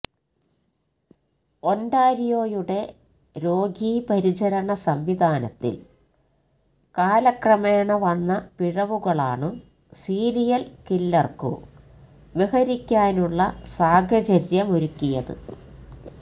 ഒൻഡാരിയോയുടെ രോഗീപരിചരണ സംവിധാനത്തിൽ കാലക്രമേണ വന്ന പിഴവുകളാണു സീരിയൽ കില്ലർക്കു വിഹരിക്കാനുള്ള സാഹചര്യമൊരുക്കിയത്